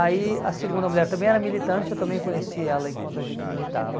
Aí a segunda mulher também era militante, eu também conheci ela enquanto a gente militava.